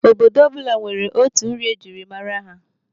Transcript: Obodo ọbụla nwere otu nri ejiri mara ya.